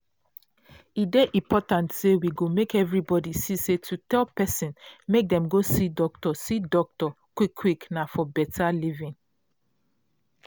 e dey important say we go make everybody see say to tell person make dem see doc see doc quick quick na for beta living.